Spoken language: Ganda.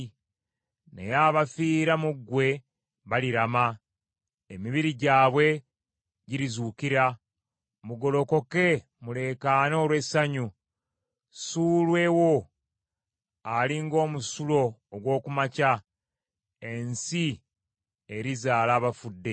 Naye abafiira mu ggwe balirama, emibiri gyabwe girizuukira. Mugolokoke, muleekaane olw’essanyu. Ssuulwe wo ali ng’omusulo ogw’oku makya, ensi erizaala abafudde.